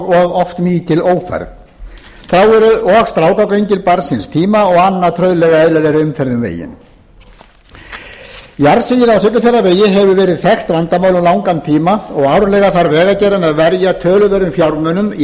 oft mikil ófærð þá eru og strákagöngin barn síns tíma og annað eðlilegri umferð um veginn jarðsig á siglufjarðarvegi hefur verið þekkt vandamál um langan tíma og árlega þarf vegagerðin að verja töluverðum fjármunum í